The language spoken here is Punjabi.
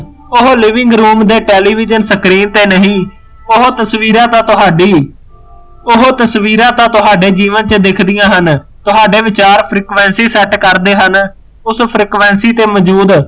ਊਹ living room ਦੇ television ਤੇ ਨਹੀਂ ਓਹੋ ਤਸਵੀਰਾਂ ਤਾ ਤੁਹਾਡੀ ਓਹੋ ਤਸਵੀਰਾਂ ਤਾ ਤੁਹਾਡੇ ਜੀਵਨ ਵਿੱਚ ਦਿੱਖਦੀਆਂ ਹਨ ਤੁਹਾਡੇ ਵਿਚਾਰ frequency ਸੈੱਟ ਕਰਦੇ ਹਨ ਉਸ frequency ਤੇ ਮੋਜੂਦ